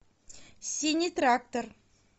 синий трактор